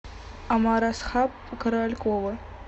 омарасхаб королькова